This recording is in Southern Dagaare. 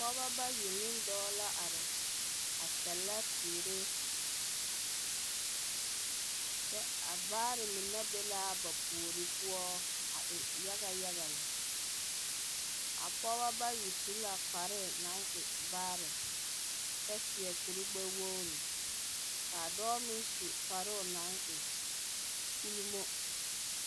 Pɔbɔ bayi ne dɔɔ la are a sɛlɛ teere, kyɛ a vaare mine be l'a ba puori poɔ a e yagayaga lɛ. A pɔbɔ bayi su la kparre naŋ e vaare kyɛ seɛ kurgbɛwoori. K'a dɔɔ meŋ su kparoo naŋ e ulimo.